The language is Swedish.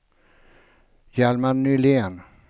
Hjalmar Nylén